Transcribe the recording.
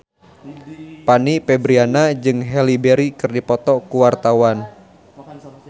Fanny Fabriana jeung Halle Berry keur dipoto ku wartawan